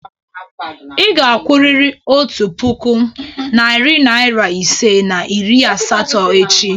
Ị ga-akwụrịrị otu puku, narị naịra ise na iri asatọ echi!